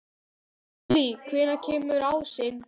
Júlí, hvenær kemur ásinn?